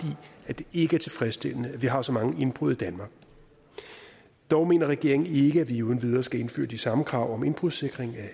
i det er tilfredsstillende at vi har så mange indbrud i danmark dog mener regeringen ikke at vi uden videre skal indføre de samme krav om indbrudssikring af